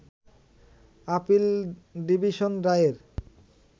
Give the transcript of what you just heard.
appeal division রায়ের